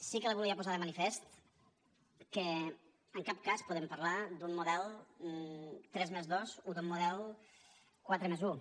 sí que li volia posar de manifest que en cap cas podem parlar d’un model tres+dos o d’un model quatre+un